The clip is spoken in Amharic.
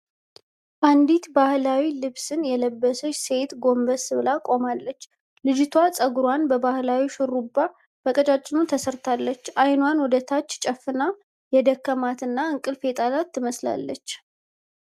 አንዲት ባህላዊ ልብስን የለበሰች ሴት ጎንበስ ብላ ቆማለች። ልጅቷ ጸጉሯን ባህላዊ ሹሩባ በቀጫጭኑ ተሰርታለች። አይኗን ወደታች ጨፍና የደከማት እና እንቅልፍ የጣላት ትመስላለች።